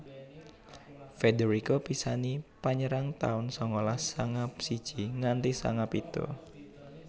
Federico Pisani Penyerang taun sangalas sanga siji nganthi sanga pitu